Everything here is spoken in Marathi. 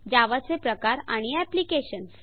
जावा चे प्रकार आणि एप्लिकेशन्स